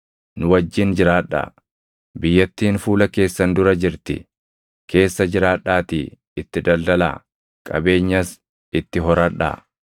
Nu wajjin jiraadhaa; biyyattiin fuula keessan dura jirti; keessa jiraadhaatii itti daldalaa; qabeenyas itti horadhaa.”